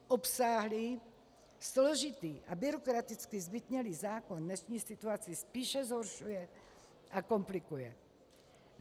Obsáhlý, složitý a byrokraticky zbytnělý zákon dnešní situaci spíše zhoršuje a komplikuje.